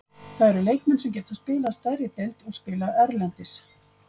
Það eru leikmenn sem geta spilaði stærri deild og spilað erlendis.